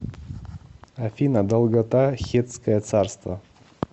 афина долгота хеттское царство